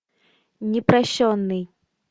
непрощенный